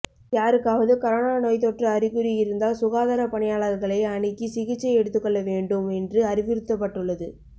யாருக்காவது கரோனா நோய்த்தொற்று அறிகுறி இருந்தால் சுகாதார பணியாளா்களை அணுகி சிகிச்சை எடுத்துக்கொள்ள வேண்டும் என்று அறிவுறுத்தப்பட்டுள்ளது